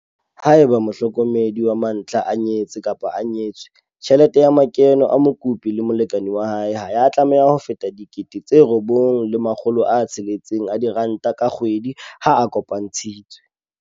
Haeba mohlokomedi wa mantlha a nyetse-nyetswe, tjhelete ya makeno a mokopi le molekane wa hae ha ya tlameha ho feta R9 600 ka kgwedi ha a kopantshitswe.